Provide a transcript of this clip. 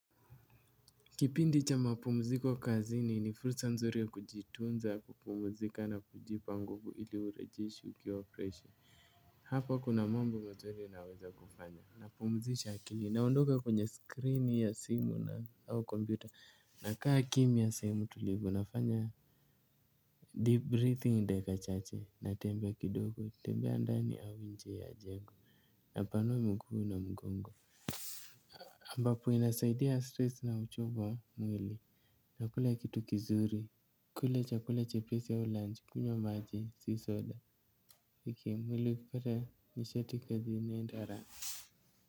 Kipindi cha mapumziko kazini ni fursa nzuri ya kujitunza, kupumzika na kujipa nguvu ili urejeshe ukiwa freshi. Hapa kuna mambo mazuri naweza kufanya. Napumzisha akili. Naondoka kwenye skrini ya simu au kompyuta. Nakaa kimya sehemu tulivu. Nafanya deep breathing dakika chache. Natembea kidogo, natembea ndani au nje ya jengo. Napanua miguu na mgongo ambapo inasaidia stress na uchovu wa mwili. Nakula kitu kizuri, kula chakula chepesi au lunch. Kunywa maji, si soda. Mwili ukipata nishati kazini ni bora.